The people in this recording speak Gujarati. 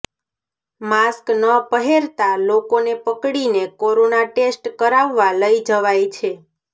માસ્ક ન પહેરતા લોકોને પકડીને કોરોના ટેસ્ટ કરાવવા લઈ જવાય છે